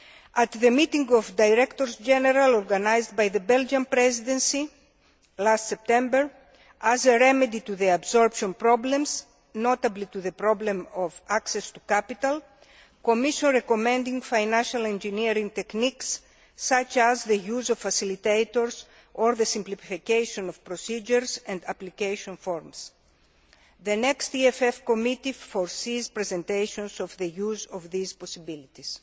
At the meeting of Directors General organised by the Belgian Presidency last September as a remedy to the absorption problems, notably, to the problem of access to capital, the Commission recommended financial engineering techniques such as the use of facilitators or the simplification of procedures and application forms. The next EFF Committee will have presentations on the use of these possibilities.